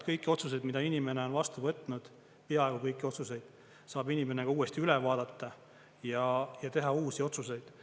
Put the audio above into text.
Kõiki otsuseid, mida inimene on vastu võtnud, peaaegu kõiki otsuseid, saab inimene ka uuesti üle vaadata ja teha uusi otsuseid.